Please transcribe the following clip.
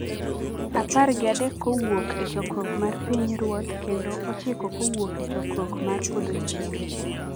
Apar gi adekkowuok e Chokruok mar Pinyruoth kendo ochiko kowuok e Chokruok mar Podhochieng’.